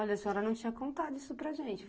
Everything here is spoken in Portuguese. Olha, a senhora não tinha contado isso para gente.